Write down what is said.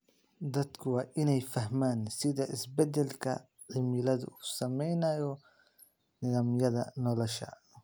Dadku waa inay fahmaan sida isbeddelka cimiladu u saameynayo nidaamyada nolosha.